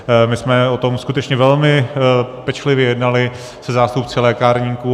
My jsme o tom skutečně velmi pečlivě jednali se zástupci lékárníků.